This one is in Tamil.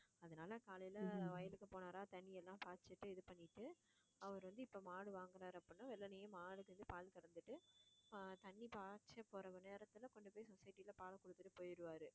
அதனால காலையில வயலுக்கு போனாரா தண்ணி எல்லாம் பாய்ச்சிட்டு இது பண்ணிட்டு அவர் வந்து இப்ப மாடு வாங்குறாரு அப்படின்னா வெள்ளனையயே மாடு சேர்ந்து பால் கறந்துட்டு ஆஹ் தண்ணி பாய்ச்ச போற நேரத்துல கொண்டு போய் society ல பால் குடுத்துட்டு போயிருவாரு